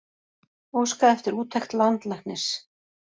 Óskað eftir úttekt landlæknis